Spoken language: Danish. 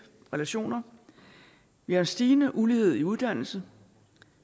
relationer vi har en stigende ulighed i uddannelse